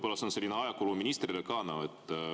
See on ka nagu ajakulu ministrile.